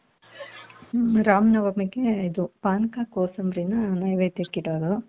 ಹ್ಮ್ ರಾಮನವಮಿಗೆ ಇದು ಪಾನಕ ಕೋಸಂಬರಿನ ನೈವೇದ್ಯಕ್ಕೆ ಇಡೋದು.